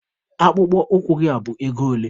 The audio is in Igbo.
Akpụkpọ ụkwụ gị a bụ ego ole?